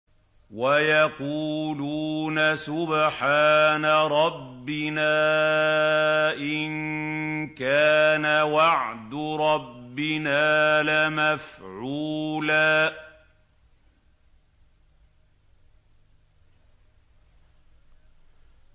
وَيَقُولُونَ سُبْحَانَ رَبِّنَا إِن كَانَ وَعْدُ رَبِّنَا لَمَفْعُولًا